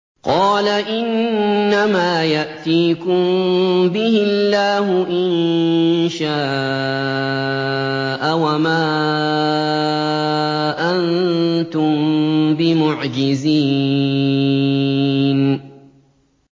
قَالَ إِنَّمَا يَأْتِيكُم بِهِ اللَّهُ إِن شَاءَ وَمَا أَنتُم بِمُعْجِزِينَ